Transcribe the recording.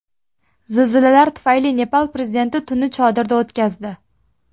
Zilzilalar tufayli Nepal prezidenti tunni chodirda o‘tkazdi.